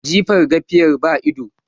Jifan gafiyar baidu.